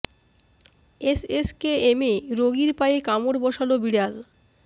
S S K এমে রোগীর পায়ে কামড় বসাল বিড়াল